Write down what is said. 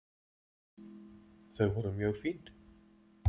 Þau voru mjög fín.